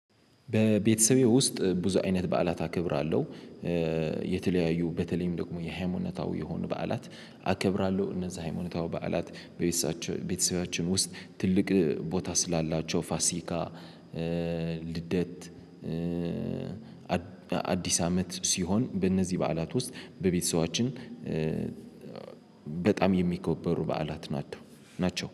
በቤተሰቤ ውስጥ ብዙ አይነት በዓላት አከብራለሁ። የተለያዩ በተለይም ደግሞ የሃይማኖታዊ የሆኑ በዓላት አከብራለሁ። እነዛ ሃይማኖታዊ በዓላት ቤተሰባች በቤተሰባችን ውስጥ ትልቅ ቦታ ስላላቸው ፋሲካ። ልደት አዲስ አመት ሲሆን በእነዚህ በዓላት ውስጥ በቤተሰባችን። በጣም የሚከበሩ በዓላት ናቸው ናቸው